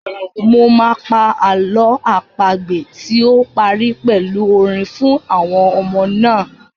Mo máa pa àlọ́ àpagbè tí ó parí pẹ̀lú orin fún àwọn ọmọ náà.